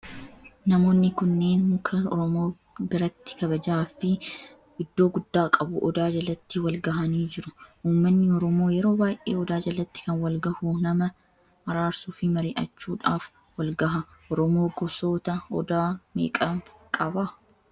Namoonni kunneen muka oromoo biratti kabajaa fi iddoo guddaa qabu odaa jalatti wal gahaanii jiru. Ummanni oromoo yeroo baayyee odaa jalatti kan wal gahu nama araarsuu fi mari'achuudhaaf walgaha. Oromoo gosoota odaa meeqa qaba?